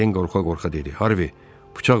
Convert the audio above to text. Den qorxa-qorxa dedi: Harvi, bıçaq üçün gəlib.